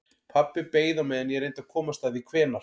Pabbi beið á meðan ég reyndi að komast að því hvenær